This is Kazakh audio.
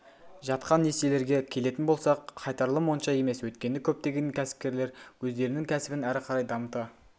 жатқан несиелерге келетін болсақ қайтарылым онша емес өйткені көптеген кәсіпкерлер өздерінің кәсібін әрі қарай дамыта